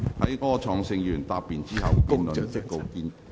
在柯創盛議員答辯後，辯論即告結束。